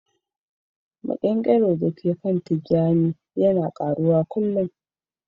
Maƙyankyaro da ke kan tijani yana taruwa kullun